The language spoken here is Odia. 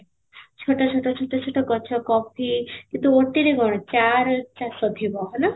ଛୋଟ ଛୋଟ ଛୋଟ ଛୋଟ ଗଛ କଫି କିନ୍ତୁ scooty ରେ କ'ଣ ଚା ର ଚାଷ ଥିବ ହେଲା